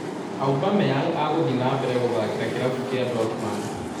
Aubameyang aguthiĩ na mbere guthatkĩra kĩrabu kĩa Dortmund